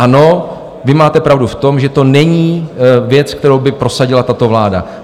Ano, vy máte pravdu v tom, že to není věc, kterou by prosadila tato vláda.